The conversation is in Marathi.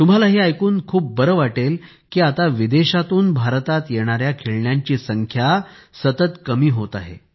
तुम्हांला हे ऐकून खूप बरे वाटेल की आता विदेशातून भारतात येणाऱ्या खेळण्यांची संख्या सतत कमी होत आहे